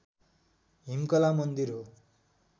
हिमकला मन्दिर हो